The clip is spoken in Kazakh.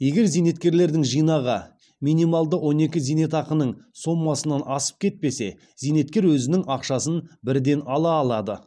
егер зейнеткерлердің жинағы минималды он екі зейнетақының сомасынан асып кетпесе зейнеткер өзінің ақшасын бірден ала алады